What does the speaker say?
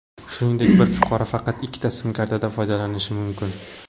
Shuningdek, bir fuqaro faqat ikkita sim-kartadan foydalanishi mumkin.